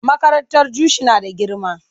Makarantar Jushi na da girma.